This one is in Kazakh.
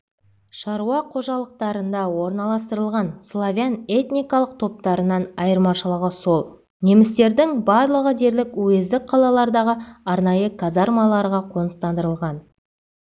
шаруа қожалықтарында орналастырылған славян этникалық топтарынан айырмашылығы сол немістердің барлығы дерлік уездік қалалардағы арнайы казармаларға қоныстандырылған